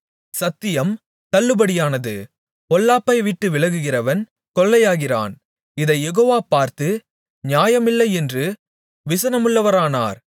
சத்தியம் தள்ளுபடியானது பொல்லாப்பை விட்டு விலகுகிறவன் கொள்ளையாகிறான் இதைக் யெகோவா பார்த்து நியாயமில்லையென்று விசனமுள்ளவரானார்